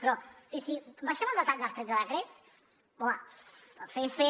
però sí sí baixem al detall dels tretze decrets home fer fer